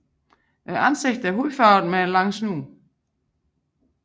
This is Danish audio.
Ansigtet er hudfarvet med en lang snude